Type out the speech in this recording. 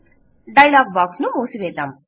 dialogue box ను మూసివేద్దాం